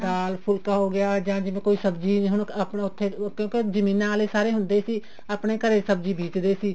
ਦਾਲ ਫੁਲਕਾ ਹੋਗਿਆ ਜਿਹਨੂੰ ਕੋਈ ਸਬ੍ਜ਼ੀ ਹੁਣ ਆਪਣਾ ਉੱਥੇ ਕਿਉਂਕਿ ਜਮੀਨਾ ਆਲੇ ਸਾਰੇ ਹੁੰਦੇ ਸੀ ਆਪਣੇ ਘਰੇ ਸਬ੍ਜ਼ੀ ਬੀਜਦੇ ਸੀ